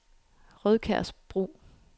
Rødkærsbro